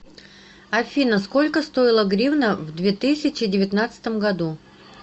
афина сколько стоила гривна в две тысячи девятнадцатом году